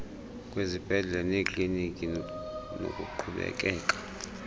kwezibhedlele neekliniki nokuqhubekeka